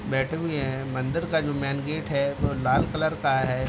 बैठे हुए है मंदिर का जो मैन गेट है वो लाल कलर का है ।